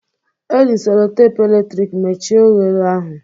Eji m selotape eletrik mechie oghere ahụ